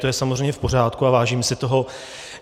To je samozřejmě v pořádku a vážím si toho.